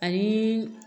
Ani